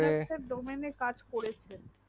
domain এ কাজ করেছে